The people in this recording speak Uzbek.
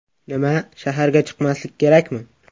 Nima, shaharga chiqmaslik kerakmi?